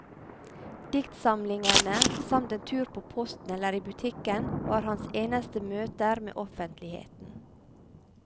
Diktsamlingene, samt en tur på posten eller i butikken, var hans eneste møter med offentligheten.